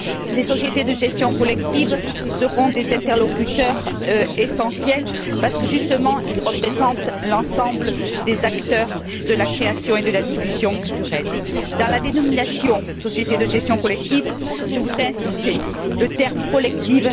Les sociétés de gestion collective seront des interlocuteurs essentiels parce que, justement, elles représentent l'ensemble des acteurs de la création et de la diffusion culturelle. Dans la dénomination sociétés de gestion collective, je voudrais insister sur le terme collective.